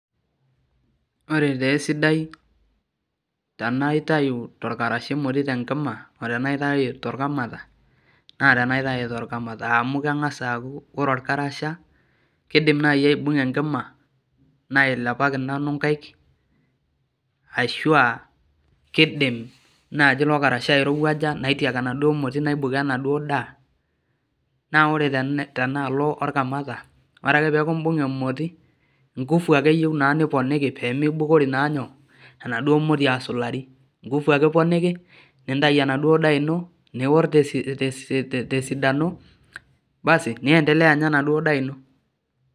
Ore tesidai tenaitayu torkarasha emoti tenkima tenaitayu torkamata, naa tenaitayu torkamata. Amu keng'asa aku ore orkarasha, kidim nai aibung'a enkima, nailepaki nanu nkaik, ashua kidim najo ilo karasha airowuaja naitiak enaduo moti naibukoo enaduo daa, na ore tenaalo orkamata, ore ake peku ibung'a emoti, ngufu ake eyieu naa niponiki pemibukori naa nyoo, enaduo moti asulari. Ngufu ake iponiki, nintayu enaduo daa ino, nior tesidano, basi niendelea anya enaduo daa ino.